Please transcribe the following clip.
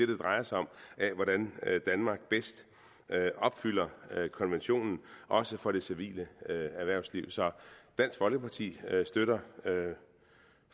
det drejer sig om af hvordan danmark bedst opfylder konventionen også for det civile erhvervsliv så dansk folkeparti støtter